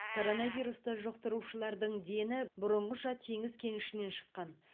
коронавирусты жұқтырушылардың дені бұрынғыша теңіз кенішінен шыққан